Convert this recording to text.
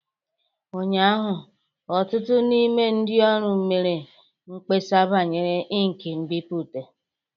Ụnyaahụ, ọtụtụ n'ime ndị ọrụ mere mkpesa banyere ink nbipute